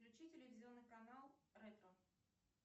включи телевизионный канал ретро